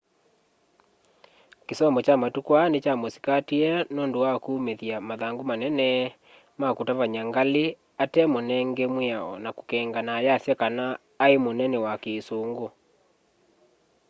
kĩsomo kya matũkũ aa nĩkya mũsĩkatĩe nũndũ was kũmĩthya mathangũ manene ma kũtavanya ngalĩ ate mũnenge mwĩao na kũkeng'ana ayasya kana aĩ mũnene wa kĩsũngũ